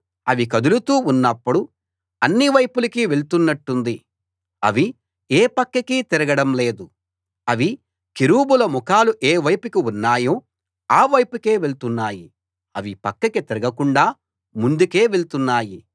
అవి కదులుతూ ఉన్నప్పుడు అన్ని వైపులకీ వెళ్తున్నట్టుంది అవి ఏ పక్కకీ తిరగడం లేదు అవి కెరూబుల ముఖాలు ఏ వైపుకి ఉన్నాయో ఆ వైపుకే వెళ్తున్నాయి అవి పక్కకి తిరగకుండా ముందుకే వెళ్తున్నాయి